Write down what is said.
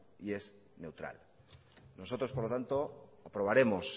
y es neutral nosotros por lo tanto aprobaremos